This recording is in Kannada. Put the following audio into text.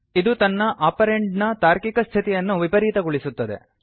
ಇದು ತನ್ನ ಓಪರೆಂಡ್ ನ ತಾರ್ಕಿಕ ಸ್ಥಿತಿಯನ್ನು ವಿಪರೀತಗೊಳಿಸುತ್ತದೆ